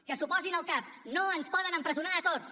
que s’ho posin al cap no ens poden empresonar a tots